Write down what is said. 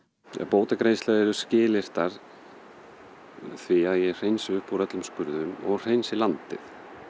bótagreiðslur eru skilyrtar því að ég hreinsi upp úr öllum skurðum og hreinsi landið